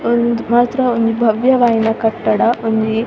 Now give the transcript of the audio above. ಉಂದು ಮಾತ್ರ ಉಂದು ಭವ್ಯವಾಯಿನ ಕಟ್ಟಡ ಒಂಜಿ --